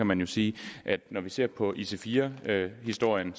man jo sige at når vi ser på ic4 historien